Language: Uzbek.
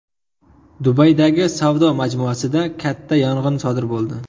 Dubaydagi savdo majmuasida katta yong‘in sodir bo‘ldi.